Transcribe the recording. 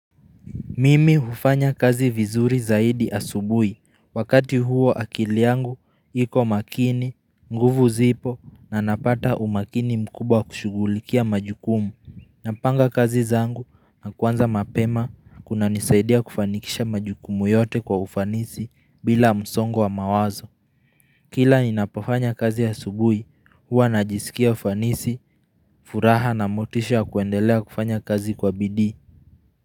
Mimi hufanya kazi vizuri zaidi asubui. Wakati huo akili yangu, iko makini, nguvu zipo na napata umakini mkubwa kushugulikia majukumu. Napanga kazi zangu na kuanza mapema, kuna nisaidia kufanikisha majukumu yote kwa ufanisi bila msongo wa mawazo. Kila ninapofanya kazi asubui, hua najisikia ufanisi, furaha na motisha kuendelea kufanya kazi kwa bidii.